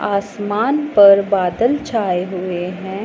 आसमान पर बादल छाए हुए हैं।